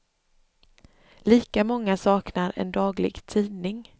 Lika många saknar en daglig tidning.